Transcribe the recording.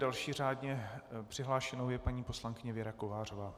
Další řádně přihlášenou je paní poslankyně Věra Kovářová.